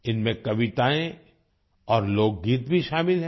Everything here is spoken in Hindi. इनमें कविताएं और लोकगीत भी शामिल हैं